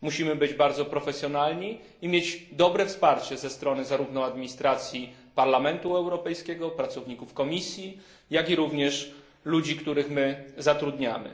Musimy być bardzo profesjonalni i mieć dobre wsparcie ze strony zarówno administracji Parlamentu Europejskiego, pracowników Komisji, jak i ludzi, których zatrudniamy.